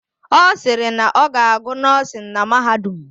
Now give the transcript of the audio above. Ọ sịrị na ọ ga-agụ nọ́ọ̀sịn na mahadum